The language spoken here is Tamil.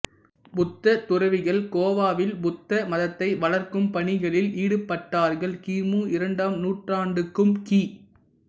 புத்த துறவிகள் கோவாவில் புத்த மதத்தை வளர்க்கும் பணிகளில் ஈடுபட்டார்கள் கி மு இரண்டாம் நூற்றாண்டுக்கும் கி